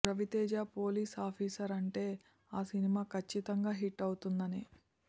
Raviteja police officer అంటే ఆ cinema కచ్చితంగా హిట్ అవుతుందనే